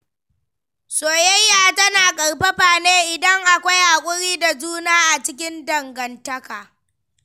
Soyayya tana ƙarfafa ne idan akwai haƙuri da juna a cikin dangantaka.